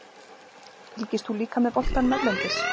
Fylgist þú líka með boltanum erlendis?